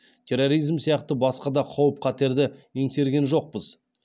терроризм сияқты басқа да қауіп қатерді еңсерген жоқпыз